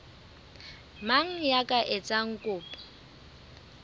mang ya ka etsang kopo